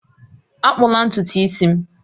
Akpụla ntutu isi m!